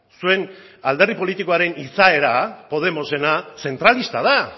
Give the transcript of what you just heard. zuen alderdi politikoaren izaera podemosena zentralista da